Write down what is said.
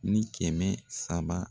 Ni kɛmɛ saba.